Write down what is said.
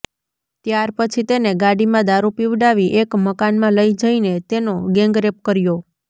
ત્યારપછી તેને ગાડીમાં દારૂ પીવડાવી એક મકાનમાં લઇ જઈને તેનો ગેંગરેપ કર્યો